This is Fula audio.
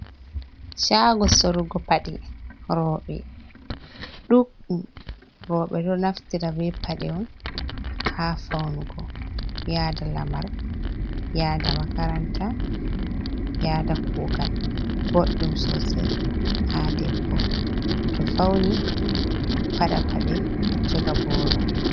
Shago sorugo paɗe roɓe ɗuɗɗum. Roɓe ɗo naftira be paɗe on ha faunugo yada lamar, yada makaranta, yada kugal. Ɓoɗɗum sosai ha debbo to fauni paɗa paɗe, joga boro.